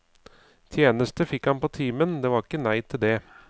Tjeneste fikk han på timen, det var ikke nei til det.